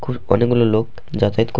কর অনেকগুলো লোক যাতায়াত কর--